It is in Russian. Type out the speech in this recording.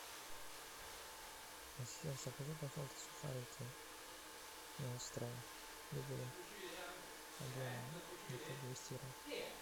ассистент закажи пожалуйста сухарики не острые любые объем где то двести грамм